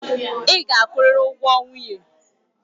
Ị ga-akwụrịrị ụgwọ nwunye.